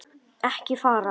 Ekki fara.